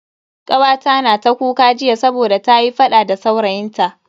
Kawata na ta kuka jiya saboda ta yi fada da saurayin ta.